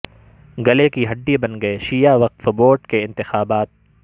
گلے کی ہڈ ی بن گئے شیعہ وقف بورڈ کے انتخابات